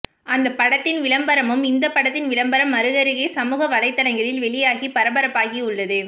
அந்த படத்தின் விளம்பரமும் இந்த படத்தின் விளம்பரம் அருகருகே சமூக வலைதளங்களில் வெளியாகி பரபரப்பாகி உள்ளது